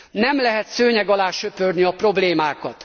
Nem lehet szőnyeg alá söpörni a problémákat!